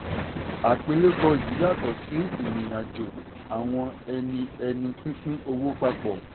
àpilẹ̀kọ yìí yàtọ̀ sí ìrìn àjò àwọn ẹni ẹni pínpín owó papọ̀.